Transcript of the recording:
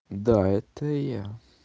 да это я